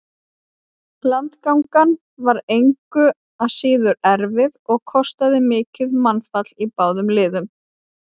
Landgangan var engu að síður erfið og kostaði mikið mannfall í báðum liðum.